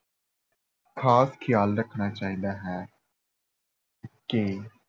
ਖਾਸ ਖਿਆਲ ਰੱਖਣਾ ਚਾਹੀਦਾ ਹੈ ਕਿ